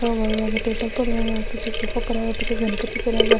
Paper पड़े हुए है पीछे उसके सोफा पड़ा हुआ है पीछे उसके गनपति पड़ा हुआ है।